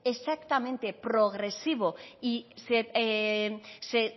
exactamente progresivo y se